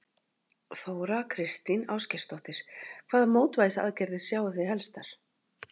Þóra Kristín Ásgeirsdóttir: Hvaða mótvægisaðgerðir sjáið þið helstar?